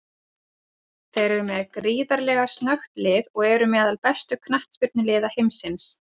Þeir eru með gríðarlega snöggt lið og eru meðal bestu knattspyrnuliða heimsins.